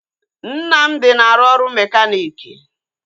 Nnamdi na-arụ ọrụ mekaniiki